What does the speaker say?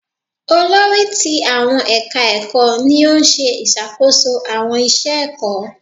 Olórí ti àwọn ẹ̀ka ẹ̀kọ́ ni ó ń ṣe ìṣàkóso àwọn iṣẹ ẹ̀kọ́.